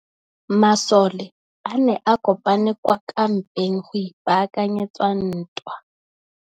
Masole a ne a kopane kwa kampeng go ipaakanyetsa ntwa.